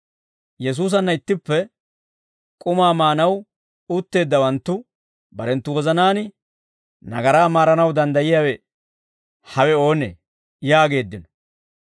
Yesuusanna ittippe k'umaa maanaw utteeddawanttu barenttu wozanaan, «Nagaraa maaranaw danddayiyaawe hawe oonee?» yaageeddino.